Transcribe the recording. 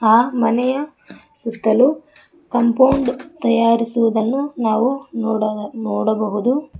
ಆ ಮನೆಯ ಸುತ್ತಲೂ ಕಾಂಪೌಂಡ್ ತಯಾರಿಸುವುದನ್ನು ನಾವು ನೋಡ ನೋಡಬಹುದು.